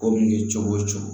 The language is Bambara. Ko min ye cogo o cogo